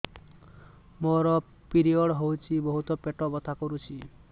ମୋର ପିରିଅଡ଼ ହୋଇଛି ବହୁତ ପେଟ ବଥା କରୁଛି